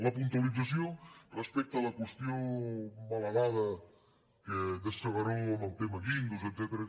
la puntualització respecte a la qüestió mala dada de s’agaró amb el tema guindos etcète·ra